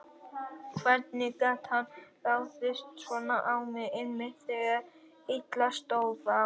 Hvernig gat hann ráðist svona á mig, einmitt þegar illa stóð á?